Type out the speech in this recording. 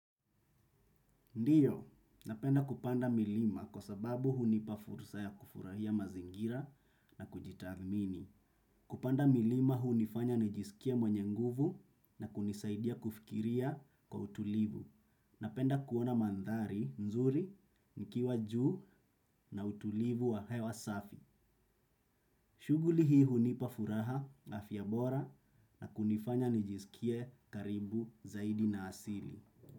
Ndiyo, napenda kupanda milima kwa sababu hunipa fursa ya kufurahia mazingira na kujitathmini. Kupanda milima hunifanya nijisikie mwenye nguvu na kunisaidia kufikiria kwa utulivu. Napenda kuona mandhari nzuri nikiwa juu na utulivu wa hewa safi. Shughuli hii hunipa furaha, afya bora na kunifanya nijisikie karibu zaidi na asili.